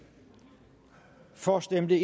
for stemte